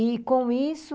E, com isso,